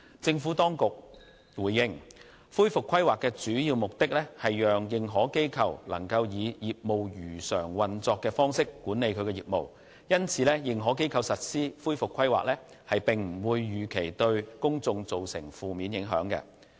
政府當局回應，恢復規劃的主要目的，是讓認可機構能夠以業務如常運作的方式管理其業務，因此認可機構實施恢復規劃，並不預期會對公眾造成負面影響。